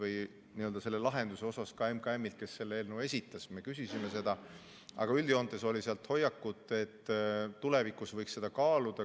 Me küsisime seda ka MKM‑ilt, kes selle eelnõu esitas, aga üldjoontes oli seal hoiak, et tulevikus võiks kaaluda.